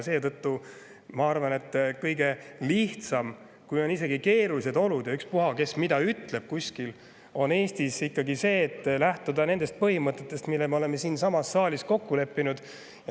Seetõttu ma arvan, et kõige lihtsam, isegi kui on keerulised olud, ükspuha, kes mida ütleb kuskil, on ikkagi lähtuda Eestis nendest põhimõtetest, mille me oleme siinsamas saalis kokku leppinud.